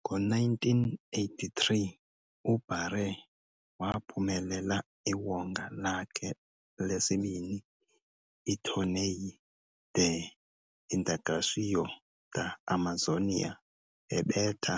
Ngo-1983, uBaré waphumelela iwonga lakhe lesibini, iTorneio de Integração da Amazônia, ebetha